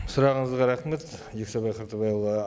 сұрағыңызға рахмет жексенбай қартабайұлы